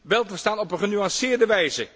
wel te verstaan, op een genuanceerde wijze.